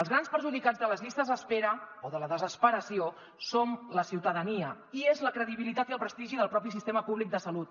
els grans perjudicats de les llistes d’espera o de la desesperació som la ciutadania i és la credibilitat i el prestigi del propi sistema públic de salut